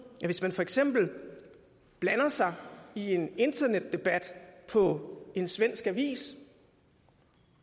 at hvis man for eksempel blander sig i en internetdebat på en svensk avis